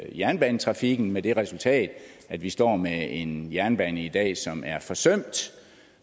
jernbanetrafikken med det resultat at vi står med en jernbane i dag som er forsømt